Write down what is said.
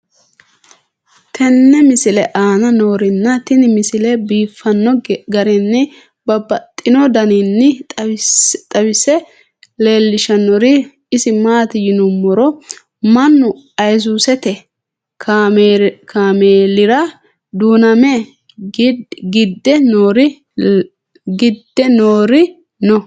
tenne misile aana noorina tini misile biiffanno garinni babaxxinno daniinni xawisse leelishanori isi maati yinummoro mannu ayisuusette kaamelira duunnamme gidde noori noo.